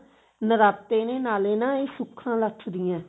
ਨਰਾਤੇ ਨੇ ਨਾਲੇ ਨਾ ਇਹ ਸੁੱਖਾ ਲੱਥ ਦੀਆਂ ਨੇ